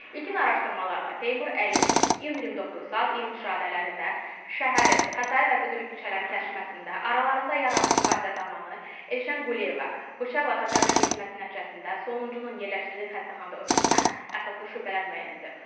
İlkin araşdırmalarla Teymur Əliyevun iyun 29-u saat 23 radələrində şəhərin Xətai və Füzuli küçələrinin kəsişməsində aralarında yaranmış mübahisə zamanı Elşən Quliyeva bıçaqla xəsarətlə yetməsi nəticəsində sonuncunun yerləşdirildiyi xəstəxanada ölməsinə əsaslı şübhələr müəyyən edilib.